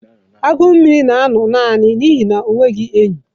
Agụ na-anọ nnọọ naanị n'ihi na o nweghị enyi